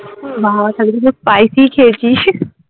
বাহ্ তাহলে তো সব spicy ই খেয়েছিস